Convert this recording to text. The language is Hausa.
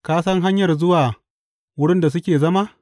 Ka san hanyar zuwa wurin da suke zama?